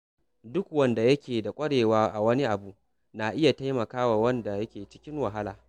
Duk wanda yake da ƙwarewa a wani abu na iya taimaka wa wanda ke cikin wahala.